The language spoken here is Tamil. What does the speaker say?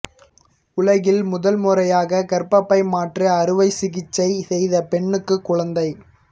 உலகில் முதல்முறையாக கர்ப்பபை மாற்று அறுவை சிகிச்சை செய்த பெண்ணுக்கு குழந்தை